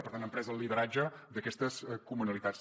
per tant han pres el lideratge d’aquestes comunalitats